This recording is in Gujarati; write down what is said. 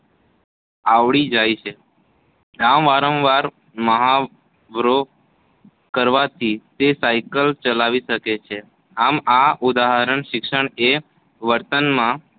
આવડી જાય છે. આમ વારંવાર મહાવરો કરવાથી તે સાયકલ ચલાવી શકે છે. આમ આ ઉદાહરણ શિક્ષણ એ વર્તનમાં